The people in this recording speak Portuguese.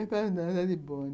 É, para andar de bonde.